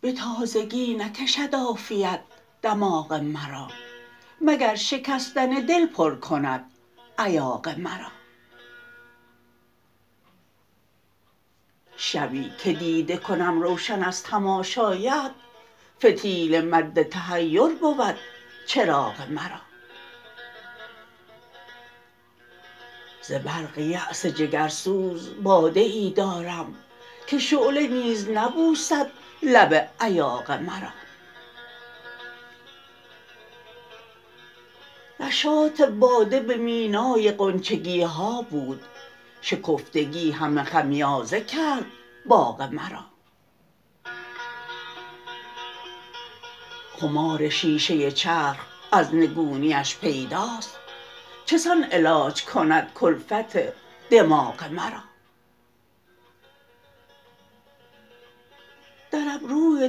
به تازگی نکشد عافیت دماغ مرا مگر شکستن دل پرکند ایاغ مرا شبی که دیده کنم روشن از تماشایت فتیله مدتحیربو د چراغ مرا ز برق یأس جگرسوز باده ای دارم که شعله نیزنبوسد لب ایاغ مرا نشاط باده به مینای غنچگیها بود شکفتگی همه خمیازه کرد باغ مرا خمار شیشه چرخ از نگونی اش پداست چسان علا ج کندکلفت دماغ مرا در ابروی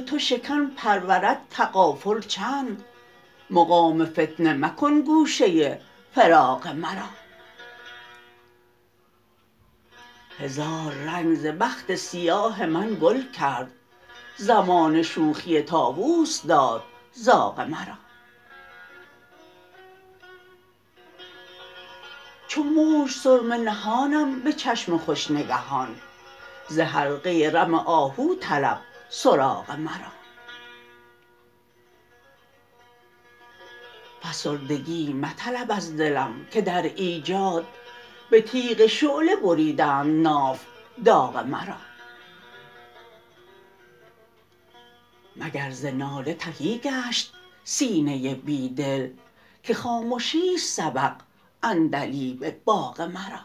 تو شکن پرورد تغافل چند مقام فتنه مکن گوشه فراغ مرا هزاررنگ ز بخت سیاه من گل کرد زمانه شوخی طاووس داد زاغ مرا چوموج سرمه نهانم به چشم خوش نگهان زحلقه رم آهوطلب سراغ مرا فسردگی مطلب از دلم که در ایجاد به تیغ شعله بریدند ناف داغ مرا مگر ز ناله تهی گشت سینه بیدل که خامشی است سبق عندلیب باغ مرا